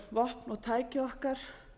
vopn og tæki okkar